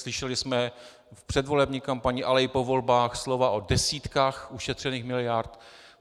Slyšeli jsme v předvolební kampani, ale i po volbách, slova o desítkách ušetřených miliard.